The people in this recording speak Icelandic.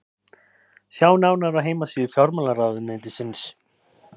sjá nánar á heimasíðu fjármálaráðuneytisins